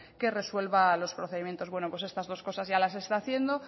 que resuelva los procedimientos bueno pues estas dos cosas ya las está haciendo